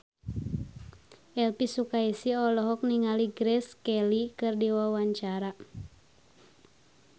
Elvi Sukaesih olohok ningali Grace Kelly keur diwawancara